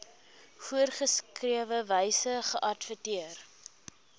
voorgeskrewe wyse geadverteer